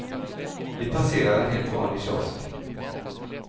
Vi passerar en helt vanlig kiosk.